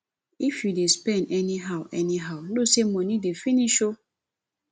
if you dey spend anyhow anyhow know say money dey finish oo